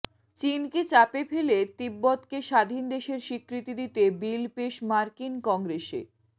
চিনকে চাপে ফেলে তিব্বতকে স্বাধীন দেশের স্বীকৃতি দিতে বিল পেশ মার্কিন কংগ্রেসে